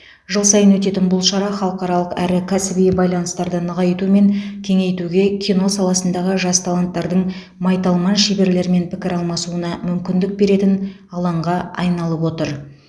жыл сайын өтетін бұл шара халықаралық әрі кәсіби байланыстарды нығайту мен кеңейтуге кино саласындағы жас таланттардың майталман шеберлермен пікір алмасуына мүмкіндік беретін алаңға айналып отыр